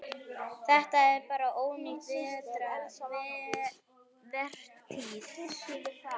Þetta er bara ónýt vertíð.